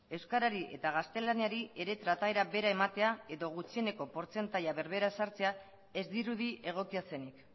euskarari eta gaztelaniari ere trataera bera ematea edo gutxieneko portzentaia berbera ezartzea ez dirudi egokia zenik